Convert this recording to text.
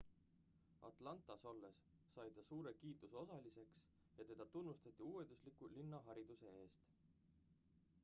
atlantas olles sai ta suure kiituse osaliseks ja teda tunnustati uuendusliku linnahariduse eest